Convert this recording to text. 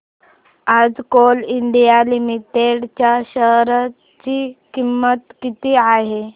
आज Coal India Limited च्या share ची किंमत किती आहे